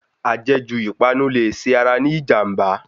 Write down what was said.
Ajẹ̀ jù ìpanu lè ṣe ara ní ìjànbá.